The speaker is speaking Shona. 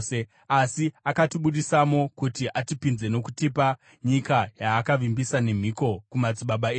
Asi akatibudisamo kuti atipinze nokutipa nyika yaakavimbisa nemhiko kumadzibaba edu.